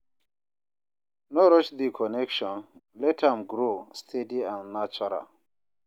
No rush the connection, let am grow steady and natural